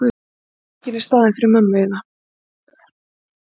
Þú veist að það kemur enginn í staðinn fyrir mömmu þína.